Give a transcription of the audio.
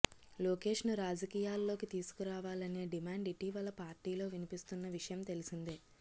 లోకేష్ను రాజకీయాల్లోకి తీసుకు రావాలనే డిమాండ్ ఇటీవల పార్టీలో వినిపిస్తున్న విషయం తెలిసిందే